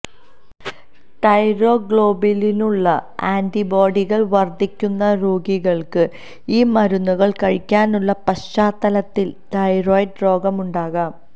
തൈറോഗ്ലോബുലിനുള്ള ആന്റിബോഡികൾ വർദ്ധിക്കുന്ന രോഗികൾക്ക് ഈ മരുന്നുകൾ കഴിക്കാനുള്ള പശ്ചാത്തലത്തിൽ തൈറോയ്ഡ് രോഗം ഉണ്ടാകാം